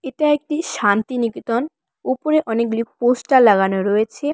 এটা একটি শান্তিনিকেতন ওপরে অনেকগুলি পোস্টার লাগানো রয়েছে।